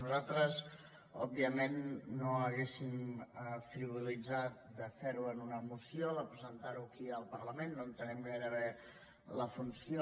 nosaltres òbviament no hauríem frivolitzat de fer ho en una moció de presentar ho aquí al parlament no entenem gaire bé la funció